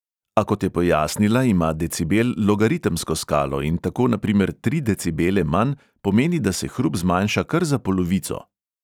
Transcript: A kot je pojasnila, ima decibel logaritemsko skalo in tako na primer tri decibele manj pomeni, da se hrup zmanjša kar za polovico.